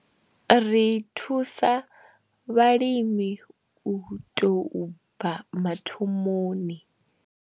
Ri thusa vhalimi u tou bva mathomoni.